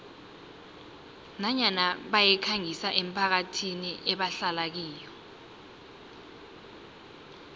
nanyana bayikhangisa emphakathini ebahlala kiyo